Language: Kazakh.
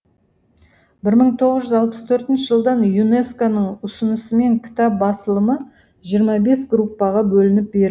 бір мың тоғыз жүз алпыс төртінші жылдан юнеско ның ұсынысымен кітап басылымы жиырма бес группаға бөлініп бер